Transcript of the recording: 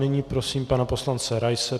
Nyní prosím pana poslance Raise.